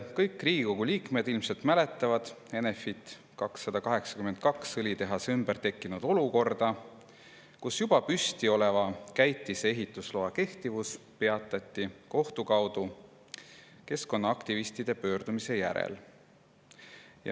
Kõik Riigikogu liikmed ilmselt mäletavad Enefit 282 õlitehase ümber tekkinud olukorda, kus juba püsti oleva käitise ehitusloa kehtivus peatati kohtu kaudu keskkonnaaktivistide pöördumise järel.